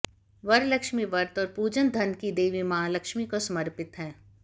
वरलक्ष्मी व्रत और पूजन धन की देवी माँ लक्ष्मी को समर्पित है